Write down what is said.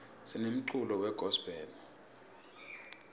sinemculo we gospel